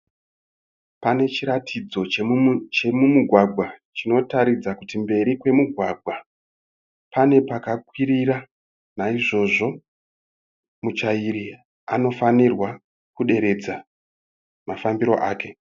Pane chiratidzo chemumugwagwa chinotaridza kuti mberi kwemugwagwa pane pakakwirira naizvozvo muchairi anofanirwa kuderedza mafambire ake.